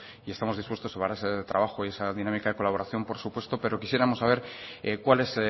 y estamos dispuestos ese trabajo y esa dinámica de colaboración por supuesto pero quisiéramos saber cuál es